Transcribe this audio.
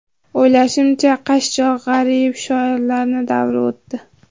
O‘ylashimcha, qashshoq, g‘arib shoirlarni davri o‘tdi.